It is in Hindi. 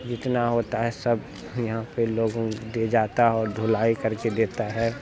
लिखना होता है सब यहाँ पे लोगों दे जाता और धुलाई करके देता है।